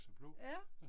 Ja